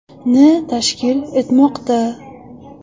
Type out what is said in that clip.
ni tashkil etmoqda.